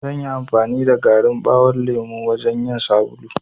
Zanyi amfani da garin ɓawon lemo wajan yin sabulu.